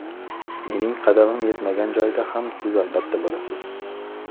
Mening qadamim yetmagan joyda ham siz albatta bo‘lasiz.